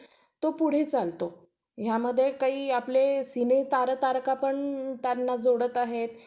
Hi आज आपण education विषयी बोलणार आहोत. तर education हे सगळ्यांना माहित असल आता,